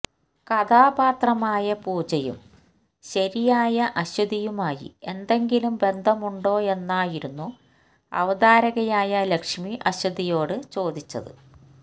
കഥാപാത്രമായ പൂജയും ശരിയായ അശ്വതിയുമായി എന്തെങ്കിലും ബന്ധമുണ്ടോയെന്നായിരുന്നു അവതാരകയായ ലക്ഷ്മി അശ്വതിയോട് ചോദിച്ചത്